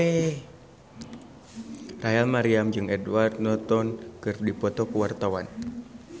Rachel Maryam jeung Edward Norton keur dipoto ku wartawan